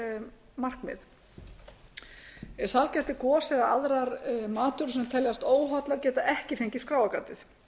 um mælanleg markmið sælgæti gos eða aðrar matvörur sem teljast óhollar geta ekki fengið skráargatið